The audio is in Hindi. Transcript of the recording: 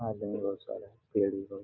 आदमी बहुत सारा पेड़ भी बहुत है।